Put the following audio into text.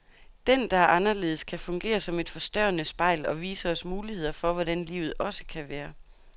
Den, der er anderledes, kan fungere som et forstørrende spejl, og vise os muligheder for hvordan livet også kan være.